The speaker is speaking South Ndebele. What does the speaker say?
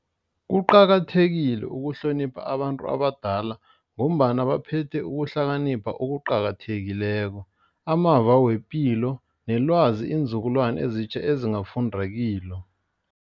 Kuqakathekile ukuhlonipha abantu abadala. Ngombana baphethe ukuhlakanipha okuqakathekileko, amava wepilo nelwazi iinzukulwana ezitjha ezingafunda kilo.